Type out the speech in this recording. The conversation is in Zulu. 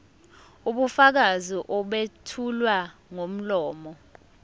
ubufakazi obethulwa ngomlomo